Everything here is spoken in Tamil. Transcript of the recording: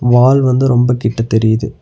வால் வந்து ரொம்ப கிட்ட தெரியிது.